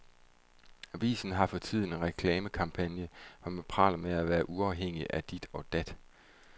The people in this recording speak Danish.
Avisen har for tiden en reklamekampagne, hvor man praler af at være uafhængig af dit og dat.